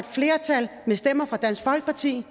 flertal med stemmer fra dansk folkeparti